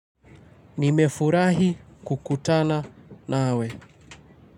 Nimefurahi kukutana nawe.